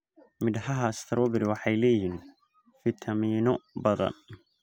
Midhaha strawberry waxay leeyihiin fiitamiinno badan.